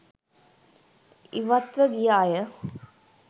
ඉවත්ව ගිය අය